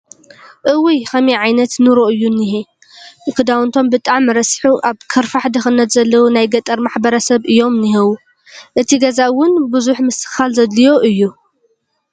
እውይ! ከመይ ዓይነት ኑሮ እዮ ዝኒሀ ክዳውቶም ብጣዕሚ ረሲሑ ኣብ ከርፋሕ ድክነት ዘለው ናይ ገጠር ማሕበረ-ሰብ እዮም ዝኒሀው። እቲ ገዛ እውን ብዙሕ ምስትክኻል ዘድልዮ እዩ።